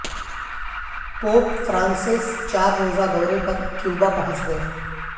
pope Francis چار روزہ دورے پر کیوبا پہنچ گئے